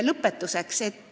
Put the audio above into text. Lõpetuseks.